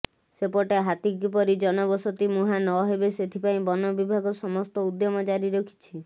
ସେପଟେ ହାତୀ କିପରି ଜନବସତି ମୁହାଁ ନହେବ ସେଥିପାଇଁ ବନବିଭାଗ ସମସ୍ତ ଉଦ୍ୟମ ଜାରି ରଖିଛି